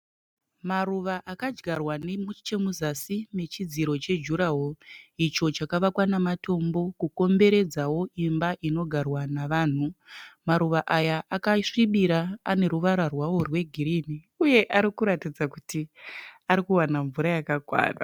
Maruva akadyarwa nechemuzazi mechidziro chejuraworo, icho chakavakwa nematombo kukomberedza imba inogarwa nevanhu. Maruva aya akasvibira ane ruvara rwawo rwegirini uye arikuratidza kuti ari kuwana mvura yakakwana.